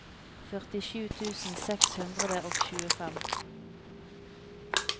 førtisju tusen seks hundre og tjuefem